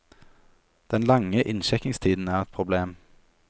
Den lange innsjekkingstiden er ett problem.